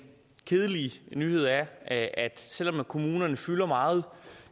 kedelige nyhed er at selv om kommunerne fylder meget